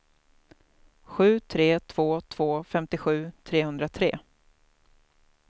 sju tre två två femtiosju trehundratre